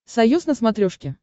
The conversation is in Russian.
союз на смотрешке